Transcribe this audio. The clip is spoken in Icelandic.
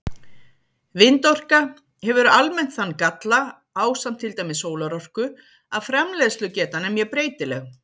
Vindorka hefur almennt þann galla, ásamt til dæmis sólarorku, að framleiðslugetan er mjög breytileg.